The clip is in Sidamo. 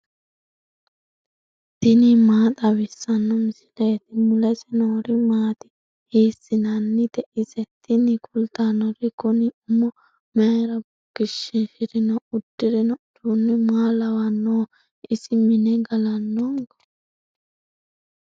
tini maa xawissanno misileeti ? mulese noori maati ? hiissinannite ise ? tini kultannori kuni umo mayra bukkichishirino uddirino uduunni maa lawannoho isi mine galannonko